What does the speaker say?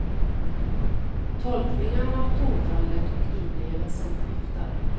Tolkningarna, tonfallet och inlevelsen skiftar.